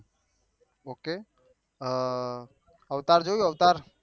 okay Avatar જોયું અવતાર